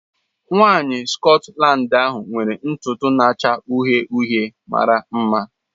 Nwanyị Scotland ahụ nwere ntutu na-acha uhie uhie mara mma.